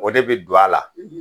O de bi don a la.